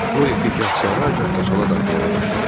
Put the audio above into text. O ipi gah sağa, gah da sola dartmağa başladı.